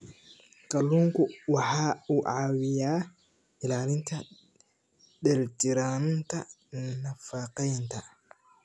Kalluunku waxa uu caawiyaa ilaalinta dheelitirnaanta nafaqeynta.